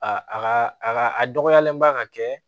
Aa a ka a ka a dɔgɔyalen ba ka kɛ